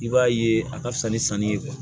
I b'a ye a ka fisa ni sanni ye